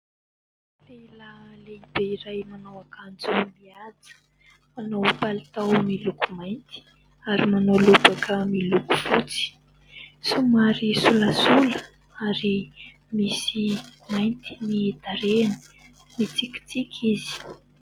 Lehilahy lehibe iray nanao akanjo mihaja. Manao palitao miloko mainty ary manao lobaka miloko fotsy, somary solasola ary misy mainty ny tarehiny, mitsikitsiky izy.